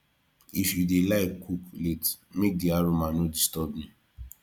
if you dey like cook late make di aroma no disturb me